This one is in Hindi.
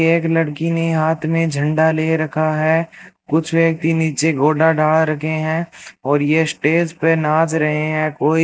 एक लड़की ने हाथ में झंडा ले रखा है कुछ व्यक्ति नीचे गोडा डा रखे हैं और ये स्टेज पे नाच रहे हैं कोई --